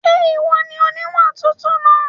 Ṣé ìwọ ni oníwà tútù náà?